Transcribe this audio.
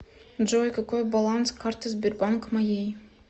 джой какой баланс карты сбербанк моей